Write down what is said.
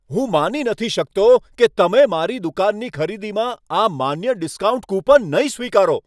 હું માની શકતો નથી કે તમે મારી દુકાનની ખરીદીમાં આ માન્ય ડિસ્કાઉન્ટ કૂપન નહીં સ્વીકારો.